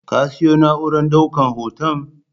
Ka siyo na'urar ɗaukan hoton?